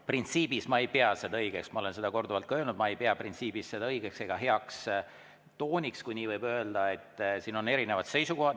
Printsiibis ma ei pea seda õigeks, ma olen seda korduvalt ka öelnud, ma ei pea seda õigeks ega heaks tooniks, kui nii võib öelda, et siin on erinevad seisukohad.